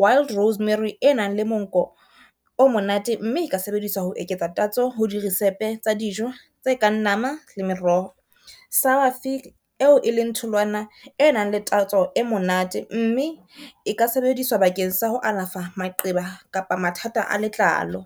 wild rosemary e nang le monko o monate, mme e ka sebediswa ho eketsa tatso ho di risepe tsa dijo tse kang nama le meroho. Sour fig eo e leng tholwana e nang le tatso e monate, mme e ka sebediswa bakeng sa ho alafa maqeba kapa mathata a letlalo.